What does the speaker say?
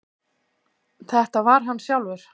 Þetta var hann sjálfur.